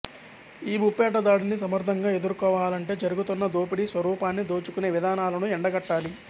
ఈ ముప్పేట దాడిని సమర్ధంగా ఎదుర్కోవాలంటే జరుగుతున్న దోపిడీ స్వరూపాన్ని దోచుకునే విధానాలను ఎండగట్టాలి